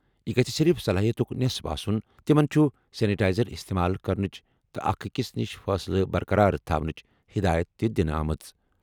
یہِ گَژھِ صِرِف صلٲحیتُک نٮ۪صٕف آسُن۔ تِمَن چھِ سینیٹائزر استعمال کرنٕچ تہٕ اکھ أکِس نِش فٲصلہٕ برقرار تھونٕچ ہِدایت تہِ دِنہٕ آمٕژ۔